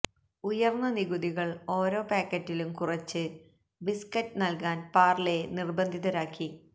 ഉയര്ന്ന നികുതികള് ഓരോ പായ്ക്കറ്റിലും കുറച്ച് ബിസ്കറ്റ് നല്കാന് പാര്ലെയെ നിര്ബന്ധിതരാക്കി